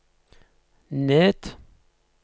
ned